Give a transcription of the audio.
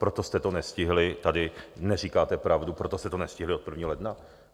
Proto jste to nestihli - tady neříkáte pravdu - proto jste to nestihli od 1. ledna.